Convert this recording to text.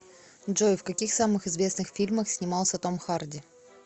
джой в каких самых известных фильмах снимался том харди